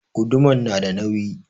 Guduman na da nauyi